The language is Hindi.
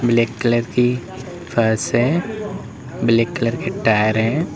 ब्लैक कलर की फर्श है। ब्लैक कलर की टायर है।